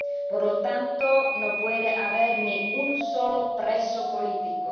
Por lo tanto, no puede haber ni un solo preso político.